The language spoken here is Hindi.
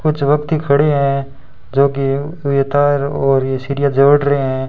कुछ व्यक्ति खड़े हैं जो कि ये तार और ये सीढ़ियां जोड़ रहे हैं।